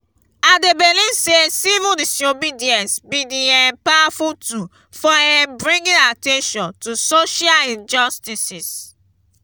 i dey believe say civil disobedience be di um powerful tool for um bringing at ten tion to social injustices.